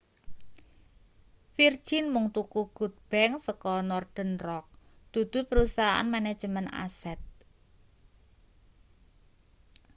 virgin mung tuku good bank' saka northern rock dudu perusahaan manajemen aset